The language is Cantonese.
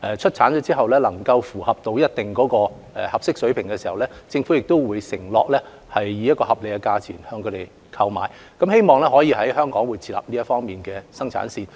出產的口罩如符合一定的要求，政府會承諾以合理的價錢購買，希望可以在香港設立這方面的生產線。